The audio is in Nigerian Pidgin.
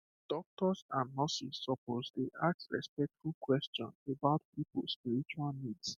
doctors and nurses suppose dey ask respectful question about people spiritual needs